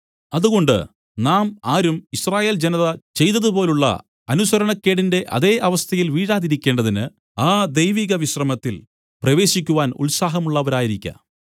അതുകൊണ്ട് നാം ആരും യിസ്രായേൽ ജനത ചെയ്തതുപോലുള്ള അനുസരണക്കേടിന്റെ അതേ അവസ്ഥയിൽ വീഴാതിരിക്കേണ്ടതിന് ആ ദൈവിക വിശ്രമത്തിൽ പ്രവേശിക്കുവാൻ ഉത്സാഹമുള്ളവരായിരിക്ക